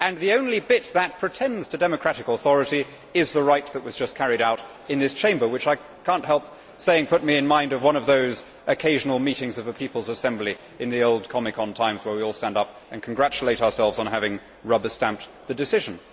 The only bit that pretends to democratic authority is the rite that was just carried out in this Chamber, which I cannot help saying put me in mind of one of those occasional meetings of the People's Assembly in the old Comecon times where we all stand up and congratulate ourselves on having rubber stamped the decision.